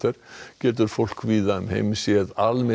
getur fólk víða um heim séð